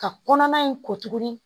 Ka kɔnɔna in ko tuguni